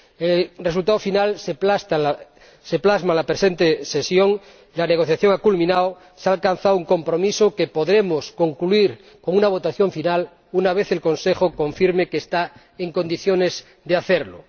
El resultado final se plasma en la presente sesión la negociación ha culminado, se ha alcanzado un compromiso que podremos concluir con una votación final, una vez el Consejo confirme que está en condiciones de hacerlo.